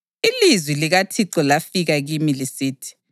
Ilizwi likaThixo lafika kimi lisithi: